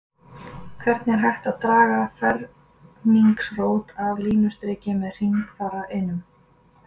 hvernig er hægt að draga ferningsrót af línustriki með hringfara einum